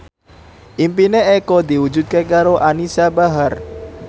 impine Eko diwujudke karo Anisa Bahar